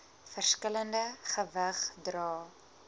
verskillende gewig dra